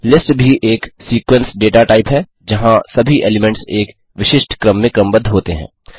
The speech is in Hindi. लिस्ट भी एक सीक्वेंस डेटा टाइप है जहाँ सभी एलीमेंट्स एक विशिष्ट क्रम में क्रमबद्ध होते हैं